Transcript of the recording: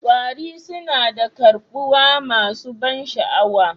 Kwari suna da karbuwa masu ban sha'awa